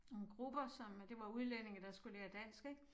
Nogle grupper som øh det var udlændinge som skulle lære dansk ik